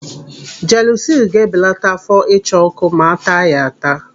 Jelusilu ga-ebelata áfọ́ ịcha ọ́kụ́ ma a taa ya ata.